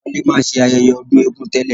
Wálé máa ń ṣe ayẹyẹ ọdún égún tẹ́lẹ̀